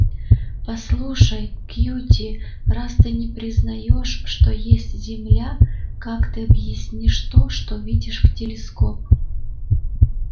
послушай кьюти раз ты не признаёшь что есть земля как ты объяснишь то что видишь в телескоп